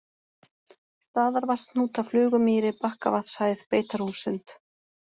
Staðarvatnshnúta, Flugumýri, Bakkavatnshæð, Beitarhússund